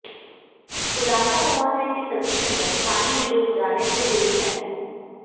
खुलासा हुआ है कि सभी की मौत पानी में डूब जाने से हुई है